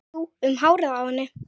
Jú, um hárið á henni!